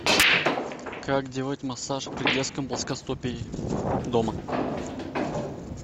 как делать массаж при детском плоскостопии дома